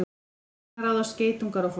Hvers vegna ráðast geitungar á fólk?